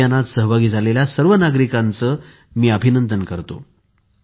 या अभियानात सहभागी झालेल्या सर्व नागरिकांचे मी अभिनंदन करतो